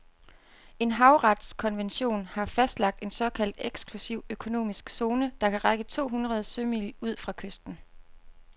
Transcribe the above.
En havretskonvention har fastlagt en såkaldt eksklusiv økonomisk zone, der kan række to hundrede sømil ud fra kysten.